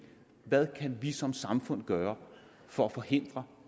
hvad kan vi som samfund gøre for at forhindre